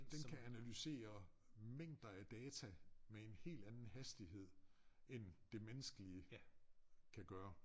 Den kan analysere mængder af data med en helt anden hastighed end det menneskelige kan gøre